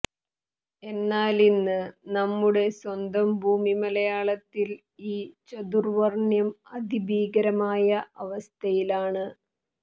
എന്നാലിന്ന് നമ്മുടെ സ്വന്തം ഭൂമിമലയാളത്തിൽ ഈ ചാതുർവർണ്ണ്യം അതിഭീകരമായ അവസ്ഥയിലാണ്